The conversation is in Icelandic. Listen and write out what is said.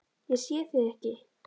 Ég sé þig ekki.